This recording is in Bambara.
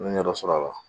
N ye ɲɛ dɔ sɔrɔ a la